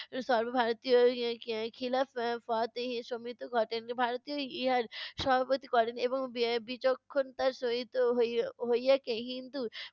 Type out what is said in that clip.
সর্বভারতীয় এর এর খি~ খিলা ফ~ ফত সম্মিত ঘটে। ভারতই ইহার সভাপতি করেন এবং বে~ বিচক্ষণতার সহিত হই~ হইয়েকে হিন্দু